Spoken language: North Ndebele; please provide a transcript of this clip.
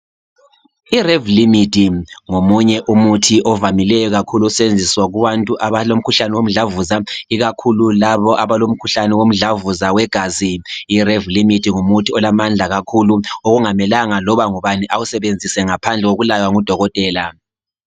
I Revlimid ngomunye umuthi ovamileyo kakhulu ukusetshenziswa kubantu abalomkhuhlane womdlavuza, ikakhulu labo abalo mdlavuza wegazi. I Revlimid ngumuthi olamandla kakhulu okungamelanga loba ngubani awusebenzise ngaphandle kokulaywa ngodokotela.